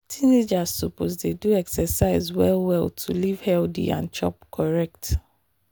teenagers suppose dey do exercise well well to live healthy and chop correct.